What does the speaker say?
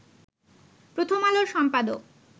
প্রথম আলোর সম্পাদক